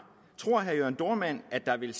tror herre jørn dohrmann at der vil